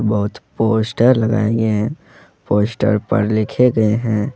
बहोत पोस्टर लगाए गए हैं पोस्टर पर लिखे गए हैं।